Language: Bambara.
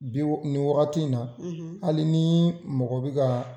Bi ni wagati in na hali ni mɔgɔ bɛ ka.